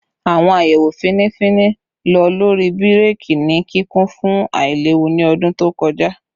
Awon ayewo fini fini lo lori bireki ni kikun fun ailewu ni ọdun to kọja